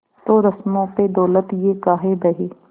तो रस्मों पे दौलत ये काहे बहे